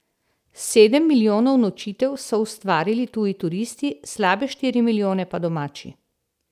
Sedem milijonov nočitev so ustvarili tuji turisti, slabe štiri milijone pa domači.